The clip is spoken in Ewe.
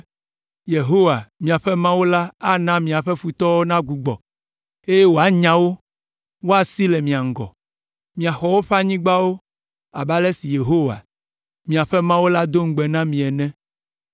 Yehowa, miaƒe Mawu la ana miaƒe futɔwo nagbugbɔ, eye wòanya wo, woasi le mia ŋgɔ. Miaxɔ woƒe anyigbawo abe ale si Yehowa, miaƒe Mawu la do ŋugbe na mi ene.